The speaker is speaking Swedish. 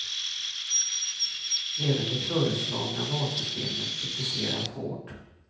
Även det föreslagna valsystemet kritiseras hårt.